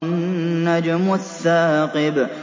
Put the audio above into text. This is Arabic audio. النَّجْمُ الثَّاقِبُ